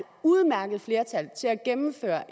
udmærket flertal til at gennemføre